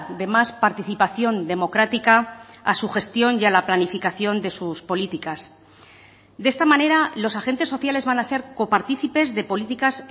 de más participación democrática a su gestión y a la planificación de sus políticas de esta manera los agentes sociales van a ser coparticipes de políticas